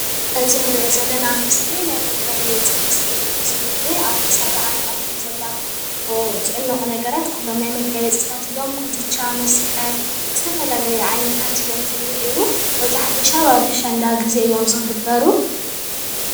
እዚ ንሪኦ ዘለና ምስሊ ናይ መጋየጺ ምስሊ እዩ ዝኒአ። ኣብ ክሳዳ ዓኒቃቶም ዘላ ዝዕነቁ ነገራት ኩሎም ናይ መጋየጽታት ነገራት እዮም። ኩትቻ፣ መስቀል ዝተፈላለዩ ዓይነታት እዮም ዝኒሀዉ። መብዛሕቲኡ ሻብ ኣብ ኣሸንዳ ግዘ እዮም ዝግበሩ ።